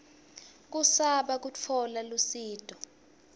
kusaba kutfola lusito